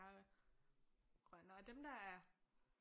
Grønnere og dem der er